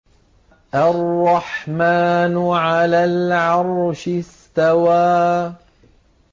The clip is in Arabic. الرَّحْمَٰنُ عَلَى الْعَرْشِ اسْتَوَىٰ